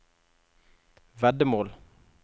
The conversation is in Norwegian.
veddemål